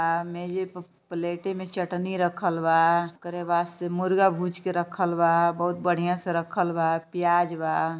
आ मेजे प प्लेटे में चटनी रखल बा। ओकारे बाद से मुर्गा भूज के रखल बा। बहुत बढ़िया से रखल बा प्याज बा।